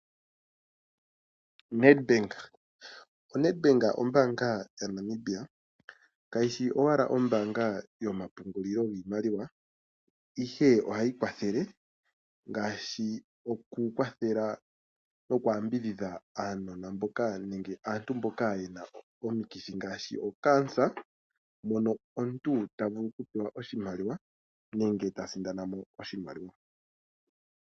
Standard bank ombaanga yaNamibia kayishi ashike ombaanga yomapungulilo giimaliwa, ihe ohayi kwathele okuyambidhidha aantu nenge aanona mboka yena omikithi ngaashi okankela mono omuntu ta vulu okumona oshimaliwa nenge ta sindana oshimaliwa.